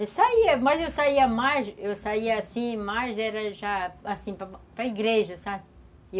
Eu saía, mas eu saía mais, eu saía assim, mais era já, assim, para igreja, sabe?